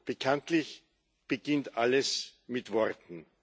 Bekanntlich beginnt alles mit Worten.